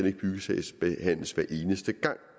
ikke byggesagsbehandles hver eneste gang